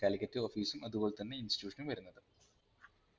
Calicut office ഉം അത് പോലെത്തന്നെ institution ഉം വരുന്നത്.